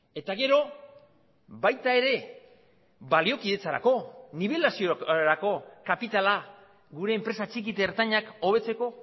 eta gero baita ere baliokidetzarako nibelaziorako kapitala gure enpresa txiki eta ertainak hobetzeko